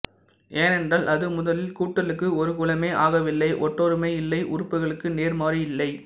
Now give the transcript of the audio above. ஏனென்றால் அது முதலில் கூட்டலுக்கு ஒரு குலமே ஆகவில்லை ஒற்றொருமை இல்லை உறுப்புகளுக்கு நேர்மாறு இல்லை